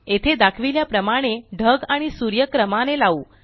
येथे दाखविल्या प्रमाणे ढग आणि सूर्य क्रमाने लावू